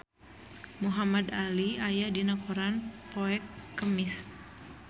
Muhamad Ali aya dina koran poe Kemis